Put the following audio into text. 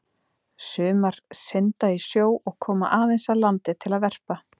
Sumar synda í sjó og koma aðeins að landi til að verpa.